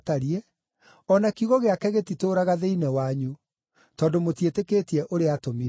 o na kiugo gĩake gĩtitũũraga thĩinĩ wanyu, tondũ mũtiĩtĩkĩtie ũrĩa aatũmire.